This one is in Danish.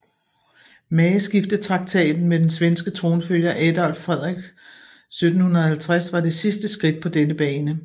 Mageskiftetraktaten med den svenske tronfølger Adolf Frederik 1750 var det sidste skridt på denne bane